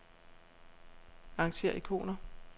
Arrangér ikoner.